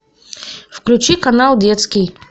включи канал детский